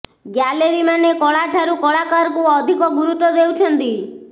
gallery ମାନେ କଳା ଠାରୁ କଳାକାରକୁ ଅଧିକ ଗୁରୁତ୍ୱ ଦେଉଛନ୍ତି